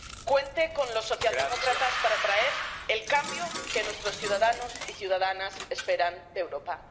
Cuente con los socialdemócratas para traer el cambio que nuestros ciudadanos y ciudadanas esperan de Europa.